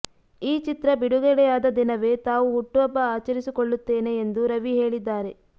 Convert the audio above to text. ಈ ಚಿತ್ರ ಬಿಡುಗಡೆಯಾದ ದಿನವೇ ತಾವು ಹುಟ್ಟುಹಬ್ಬ ಆಚರಿಸಿಕೊಳ್ಳುತ್ತೇನೆ ಎಂದು ರವಿ ಹೇಳಿದ್ದಾರೆ